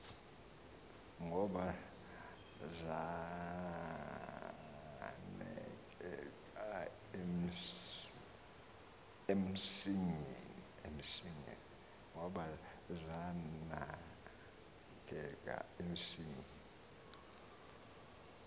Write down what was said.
ngubo zanekeka emsingeni